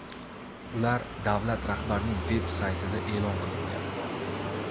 ular davlat rahbarining veb-saytida e’lon qilingan.